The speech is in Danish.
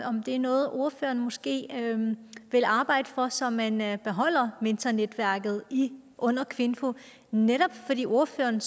om det er noget ordføreren måske vil arbejde for så man man beholder mentornetværket under kvinfo netop fordi ordføreren